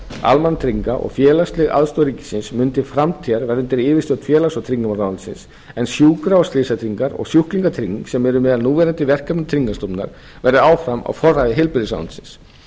almannatrygginga og félagsleg aðstoð ríkisins mun til framtíðar verða undir yfirstjórn félags og tryggingamálaráðuneytisins en sjúkra og slysatryggingar og sjúklingatrygging sem eru meðal núverandi verkefna tryggingastofnunar verði áfram á forræði heilbrigðisráðuneytisins